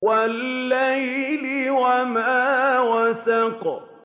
وَاللَّيْلِ وَمَا وَسَقَ